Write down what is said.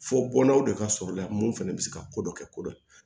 Fɔ bɔnnaw de ka sɔrɔ la mun fana bɛ se ka ko dɔ kɛ ko dɔ